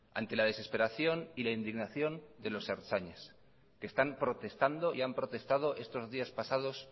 ante la desesperación y la indignación de los ertzainas que están protestando y han protestado estos días pasados